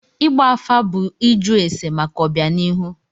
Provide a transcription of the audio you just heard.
Ịgba afa bụ ịjụ ese maka ọbịanihu.